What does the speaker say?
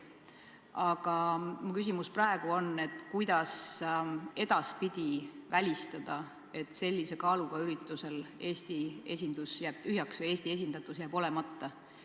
Aga mu küsimus praegu on, kuidas edaspidi välistada, et sellise kaaluga üritusel Eesti esindatus jääb olemata.